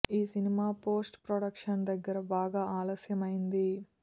ఈ cinema post production దగ్గర బాగా ఆలస్యం అయ్యింది